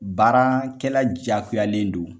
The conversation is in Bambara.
Baarakɛla jakoyalen do.